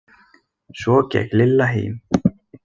Svo gekk Lilla heim.